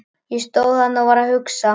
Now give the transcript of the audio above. Ég stóð þarna og var að hugsa.